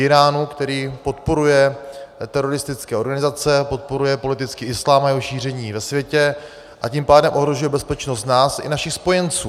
Íránu, který podporuje teroristické organizace, podporuje politický islám a jeho šíření ve světě, a tím pádem ohrožuje bezpečnost nás i našich spojenců.